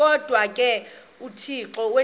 kodwa ke uthixo